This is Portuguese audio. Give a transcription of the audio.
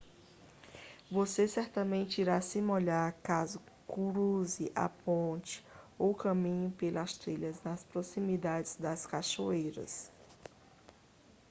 você certamente irá se molhar caso cruze a ponte ou caminhe pelas trilhas nas proximidades das cachoeiras